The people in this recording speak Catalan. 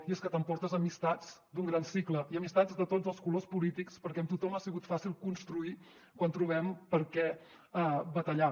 i és que t’emportes amistats d’un gran cicle i amistats de tots els colors polítics perquè amb tothom ha sigut fàcil construir quan trobem per què batallar